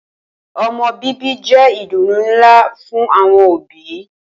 O̩mo̩ bíbí jé̩ ìdùnnú ńlá fún àwo̩n òbí